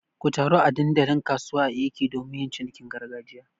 Ku taru a dandalin kasuwa a Eke domin yin cinikin gargajiya.